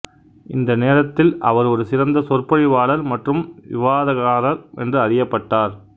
இந்த நேரத்தில் அவர் ஒரு சிறந்த சொற்பொழிவாளர் மற்றும் விவாதக்காரர் என்று அறியப்பட்டார்